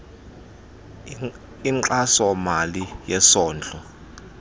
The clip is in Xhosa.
inkxaso mali yesondlo